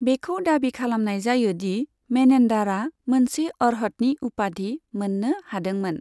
बेखौ दाबि खालामनाय जायो दि मेनेन्डारा मोनसे अर्हतनि उपाधि मोन्नो हादोंमोन।